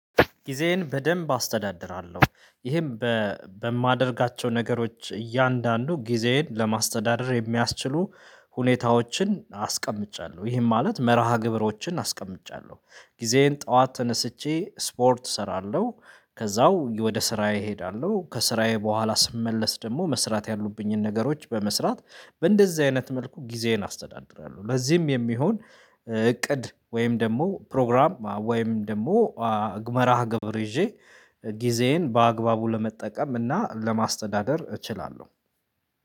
ጊዜዬን በደንብ አስተዳድራለሁ ይህም በማደርጋቸው ነገሮች እያንዳንዱ ጊዜዬን ለማስተዳደር የሚያስችሉ ሁኔታዎችን አስቀምጫለሁ ይህን ማለት መርሃ ግብሮችን አስቀምጫለሁ ጊዜዬን ጠዋት ተነስቼ ስፖርት እሰራለሁ ከዛው ወደ ስራዬ እሄዳለሁ ከስራዬ በኋላ ስመለስ ደግሞ መስራት ያሉብኝን ነገሮች በመስራት በእንደዚህ አይነት መልኩ ጊዜዬን አስተዳድራለሁ። ለዚህም የሚሆን እቅድ ወይም ደግሞ ፕሮግራም ወይም ደግሞ መርሃ ግብር ይዤ ጊዜዬን በአግባቡ ለመጠቀም እና ለማስተዳደር እችላለሁ።